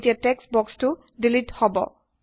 এতিয়া টেক্সট বক্সটো ডিলিট হব